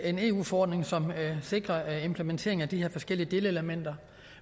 en eu forordning som sikrer implementering af de her forskellige delelementer